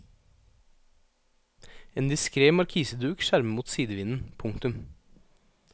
En diskret markiseduk skjermer mot sidevinden. punktum